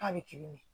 K'a bɛ kili mɔ